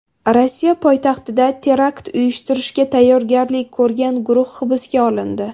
Rossiya poytaxtida terakt uyushtirishga tayyorgarlik ko‘rgan guruh hibsga olindi.